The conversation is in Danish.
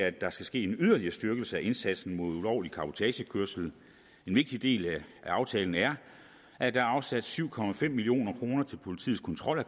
at der skal ske en yderligere styrkelse af indsatsen mod ulovlig cabotagekørsel en vigtig del af aftalen er at der er afsat syv million kroner til politiets kontrol af